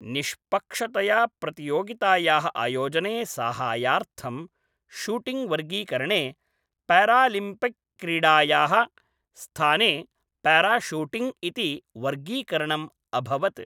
निष्पक्षतया प्रतियोगितायाः आयोजने साहाय्यार्थं शूटिङ्ग्वर्गीकरणे पैरालिम्पिक् क्रीडायाः स्थाने पैराशूटिङ्ग् इति वर्गीकरणम् अभवत्।